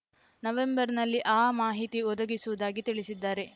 ನವೆಂಬರ್‌ನಲ್ಲಿ ಆ ಮಾಹಿತಿ ಒದಗಿಸುವುದಾಗಿ ತಿಳಿಸಿದ್ದಾರೆ